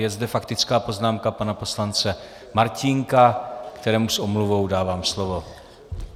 Je zde faktická poznámka pana poslance Martínka, kterému s omluvou dávám slovo.